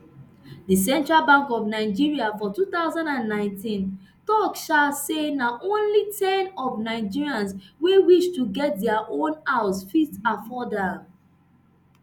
di central bank of nigeria for two thousand and nineteen tok um say na only ten of nigerians wey wish to get dia own house fit afford am